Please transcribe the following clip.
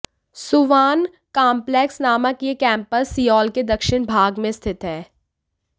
Suwon complex नामक यह campus Seoul के दक्षिण भाग में स्थित है